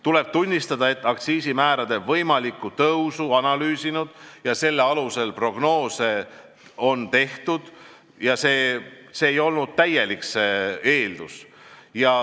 Tuleb tunnistada, et aktsiisimäärade võimalikku tõusu analüüsinud ja selle alusel prognoose teinud analüütikutel ei olnud täielikku infot.